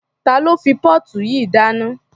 Ta ló fi póòtù yìí dáná?